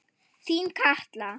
Þín Katla.